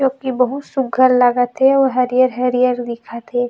क्यूकि बहुत सुग्घर लागत हे आऊ हरियर-हरियर दिखत हे।